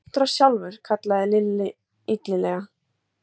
Montrass sjálfur! kallaði Lilla illilega.